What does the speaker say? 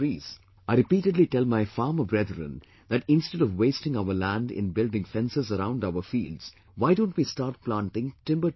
I repeatedly tell my farmer brethren that instead of wasting our land in building fences around our fields, why don't we start planting timber trees there